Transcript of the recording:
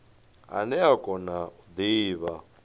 ane a kona u divha